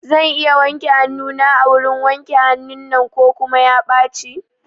Zan iya wanke hanuna a wurin wanke hanun nan ko kuma ya ɓaci?